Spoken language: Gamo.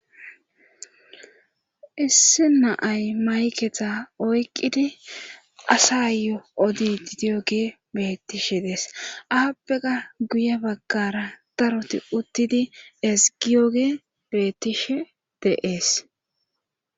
issi na'ay maykeza oyqqidi asa yo odiyogey bettishe dees aappeka guye baggara daroti uttidi esgiyogey bettishe de'ees